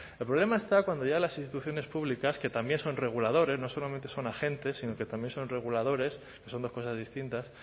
el problema está cuando ya las instituciones públicas que también son reguladores no solamente son agentes sino que también son reguladores que son dos cosas distintas